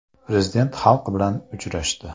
Prezident xalq bilan uchrashdi .